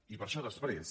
i per això després